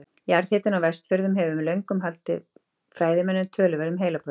jarðhitinn á vestfjörðum hefur löngum valdið fræðimönnum töluverðum heilabrotum